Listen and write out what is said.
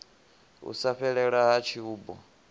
u sa fhelela ha tshubu